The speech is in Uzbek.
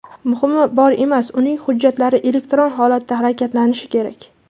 Muhimi bemor emas, uning hujjatlari elektron holatda harakatlanishi kerak.